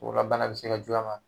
labana bɛ se ka juguy'a ma.